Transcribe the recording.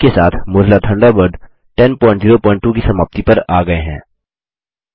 इसी के साथ मोज़िला थंडरबर्ड 1002 की समाप्ति पर आ गये हैं